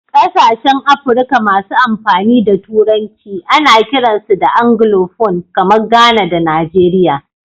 Kasashen Afrika masu amfani da Turanci ana kiransu da suna "Anglophone". Kamar Ghana da Nigeria.